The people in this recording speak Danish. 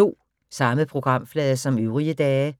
Samme programflade som øvrige dage